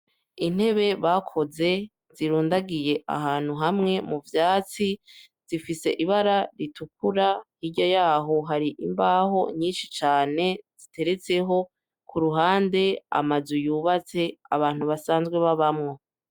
Intebe bakoze zirundagiye ahantu hamwe mu vyatsi zifise ibara ritukura hirya yaho hari imbaho nyinshi cane ziteretseho ku ruhande amazu yubatse abantu basanzwe babamwo.